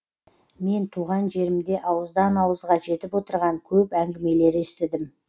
мен туған жерімде ауыздан ауызға жетіп отырған көп әңгімелер естідім